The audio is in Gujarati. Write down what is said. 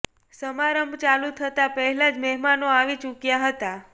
સમારંભ ચાલુ થતાં પહેલા જ મહેમાનો આવી ચૂક્યા હતા